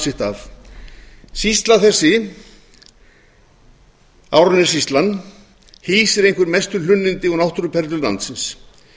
sitt af sýsla þessi árnessýsla hýsir einhver mestu hlunnindi og náttúruperlur landsins